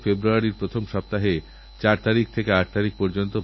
এই অধিবেশন চলাকালীন দেশের বহু মানুষের সঙ্গেআমার মিলিত হওয়ার সুযোগ হয়